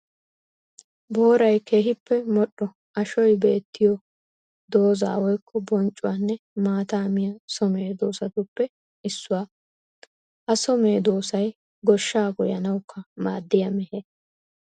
Booray keehippe modhdho ashoy beetiyo dooza woykko bonccuwanne maata miya so medosattuppe issuwa. Ha so medosay goshsha goyyanawukka maadiya mehee.